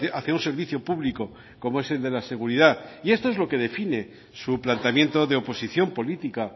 hacia un servicio público como es el de la seguridad y esto es lo que define su planteamiento de oposición política